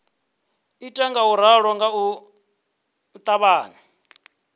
ita ngauralo nga u ṱavhanya